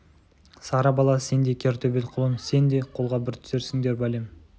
сары бала сен де кер төбел құлын сен де қолға бір түсерсіндер бәлем